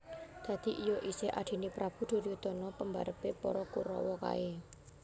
Dadi iya isih Adhine Prabu Duryudana pembarepe para Kuraw kae